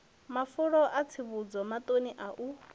mafulo a tsivhudzo maṱano u